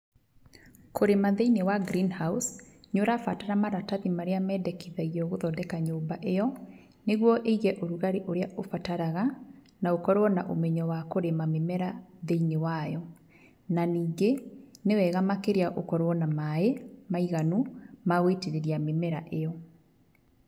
Kũrĩma thĩinĩ wa green house nĩ ũrabatara maratathi marĩa mendekithagio gũthondeka nyũmba ĩyo, nĩguo ĩige ũrugarĩ ũrĩa ũbataraga, na ũkorwo na ũmenyo a kũrĩma mĩmera thĩinĩ wayo, na ningĩ nĩ wega makĩrĩa ũkorwo na maĩ maiganu ma gũitĩrĩria mĩmera ĩyo.